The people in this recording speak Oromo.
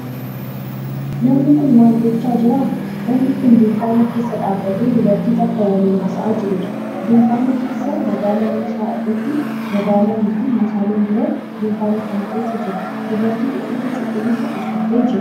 Namni kun maal gochaa jira? Namni kun dunkaana keessa dhaabbatee dubartii takka waliin haasa'aa jirudha. Dunkaana keessa madaala meeshaa irratti madaalan fi meeshaaleen biroo dunkaana kana keessa jiru. Dubartiin uffata cuquliisa uffattee jirti.